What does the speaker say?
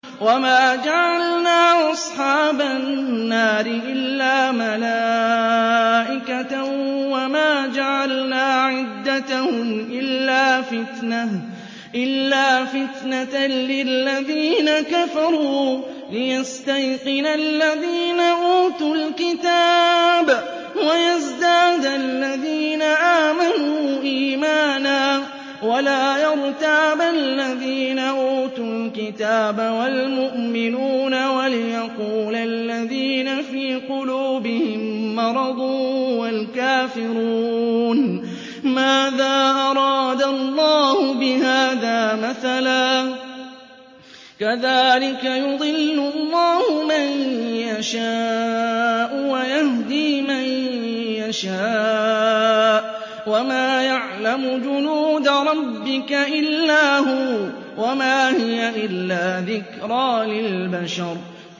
وَمَا جَعَلْنَا أَصْحَابَ النَّارِ إِلَّا مَلَائِكَةً ۙ وَمَا جَعَلْنَا عِدَّتَهُمْ إِلَّا فِتْنَةً لِّلَّذِينَ كَفَرُوا لِيَسْتَيْقِنَ الَّذِينَ أُوتُوا الْكِتَابَ وَيَزْدَادَ الَّذِينَ آمَنُوا إِيمَانًا ۙ وَلَا يَرْتَابَ الَّذِينَ أُوتُوا الْكِتَابَ وَالْمُؤْمِنُونَ ۙ وَلِيَقُولَ الَّذِينَ فِي قُلُوبِهِم مَّرَضٌ وَالْكَافِرُونَ مَاذَا أَرَادَ اللَّهُ بِهَٰذَا مَثَلًا ۚ كَذَٰلِكَ يُضِلُّ اللَّهُ مَن يَشَاءُ وَيَهْدِي مَن يَشَاءُ ۚ وَمَا يَعْلَمُ جُنُودَ رَبِّكَ إِلَّا هُوَ ۚ وَمَا هِيَ إِلَّا ذِكْرَىٰ لِلْبَشَرِ